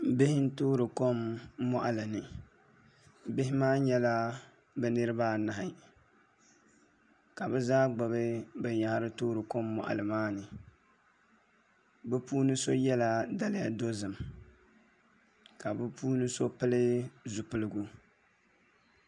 Bihi n toori kom moɣali ni bihi maa nyɛla bi niraba anahi ka bi zaa gbubi binyahari toori kom moɣali maa ni bi puuni so yɛla daliya dozim ka bi puuni so pili zipiligu